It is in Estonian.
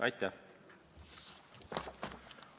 Aitäh!